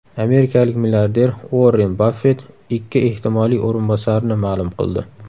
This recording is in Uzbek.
Amerikalik milliarder Uorren Baffet ikki ehtimoliy o‘rinbosarini ma’lum qildi.